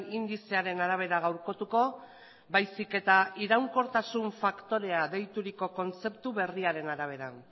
indizearen arabera gaurkotuko baizik eta iraunkortasun faktorea deituriko kontzeptu berriaren arabera